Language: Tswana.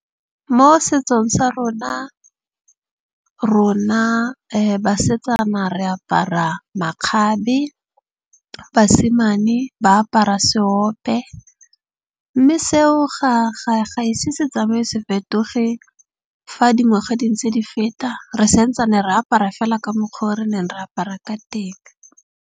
Mo setsong sa rona, rona basetsana re apara makgabe, basimane ba apara seope. Mme seo ga e se se tsamaye se fetoge. Fa dingwaga di ntse di feta, re sentsane re apara fela ka mokgwa o re neng re apara ka teng.